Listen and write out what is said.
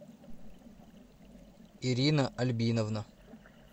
ирина альбиновна